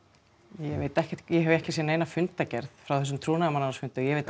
ég veit ekkert ég hef ekkert séð neina fundargerð frá þessum trúnaðarmannaráðsfundi ég veit